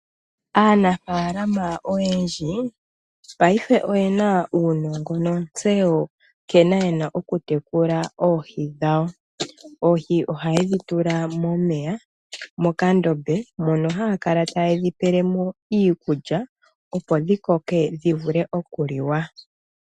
Aanafalama oyendji paife oye uunongo nontseyo nkene ye na okutekula oohi dhawo. Oohi ohaye dhi tula momeya mokandombe mono haya kala taye dhi pele mo iikulya, opo dhi koke dhi vule okuliwa.